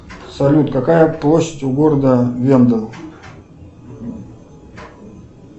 салют какая площадь у города венден